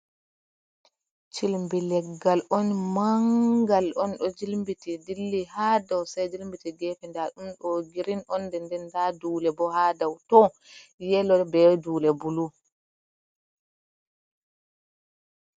Cilmbi leggal on mangal on ɗo jimbiti dilli ha dow sei jilmbiti gefe, nda dom do girin onde nden nda dule bo ha dau to yelor be dule bulu.